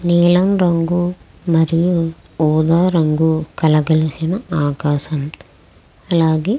నీలం రంగు మరియు ఉదా రంగు కలగలిసిన ఆకాశం అలాగే .